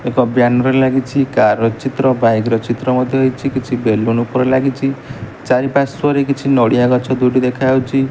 ଏକ ବ୍ୟାନର ଲାଗିଛି କାର୍ ର ଚିତ୍ର ବାଇକ୍ ର ଚିତ୍ର ମଧ୍ଯ ହେଇଛି କିଛି ବେଲୁନୁ ଉପରେ ଲାଗିଛି ଚାରିପାର୍ଶ୍ୱରେ କିଛି ନଡ଼ିଆ ଗଛ ଦୁଇଟି ଦେଖାଯାଉଛି।